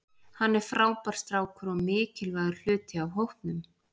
Hann er frábær strákur og mikilvægur hluti af hópnum.